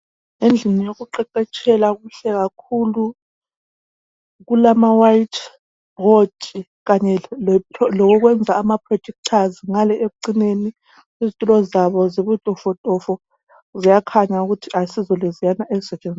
Endlini yokuqeqetshela kuhle kakhulu kulama white bhodi Kanye lokokwenza ama protectors ngale ekucineni izitulo zabo zibutofotofo ziyakhanya ukuthi asizo leziyana ezisetshenziswa